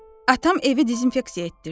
Atam evi dezinfeksiya etdirdi.